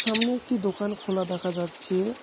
সামনে একটি দোকান খোলা দেখা যাচ্ছে।